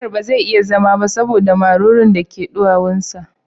Umar ba zai iya zama ba saboda marurun da ke duwawun sa